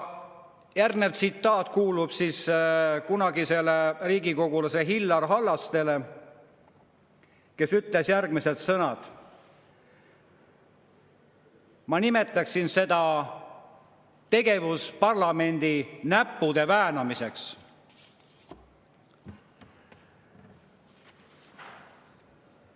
Järgmine tsitaat kuulub kunagisele riigikogulasele Illar Hallastele, kes ütles järgmised sõnad: "Ma nimetaksin seda tegevust parlamendi näppude väänamiseks.